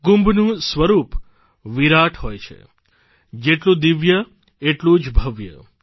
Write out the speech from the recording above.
કુંભનું સ્વરૂપ વિરાટ હોય છે જેટલું દિવ્ય એટલું જ ભવ્ય